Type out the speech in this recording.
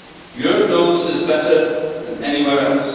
Europe knows this better than anywhere else.